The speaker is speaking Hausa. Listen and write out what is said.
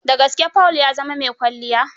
Da gaske Paul ya zama mai kwalliya?